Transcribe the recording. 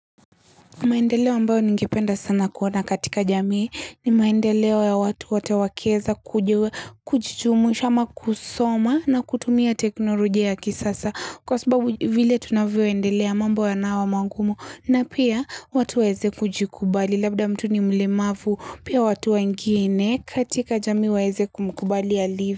Maendeleo mbayo ningipenda sana kuona katika jamii ni maendeleo ya wa wote keza kujua kujumuisha ama kusoma na kutumia teknolojia ya kisasa. Kwa sababu vile tunavyo endelea mambo ya nawa mangumu na pia watu waweze kujikubali labda mtu ni mlemavu pia watu wengine katika jamii waweze kumukubali alivyo.